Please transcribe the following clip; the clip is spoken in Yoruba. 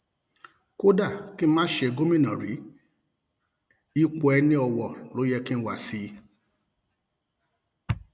kódà kí n má ṣe gómìnà rí ipò ẹniọwọ ló yẹ kí n wá sí i